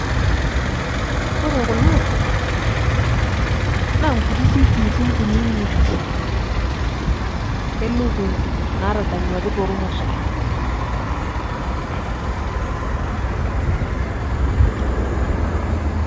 ore kuna naa nkutiti kiitin kunyinyik. elukunku naatadanyuaki toolmosor